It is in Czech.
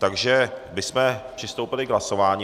Takže bychom přistoupili k hlasování.